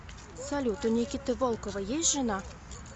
салют у никиты волкова есть жена